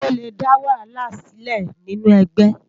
Ówó lé dá wàhálá silé ninú ègbè